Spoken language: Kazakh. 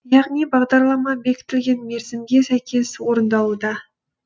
яғни бағдарлама бекітілген мерзімге сәйкес орындалуда